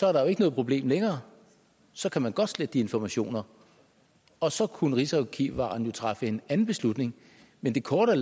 er der jo ikke noget problem længere så kan man godt slette de informationer og så kunne rigsarkivaren jo træffe en anden beslutning men det korte af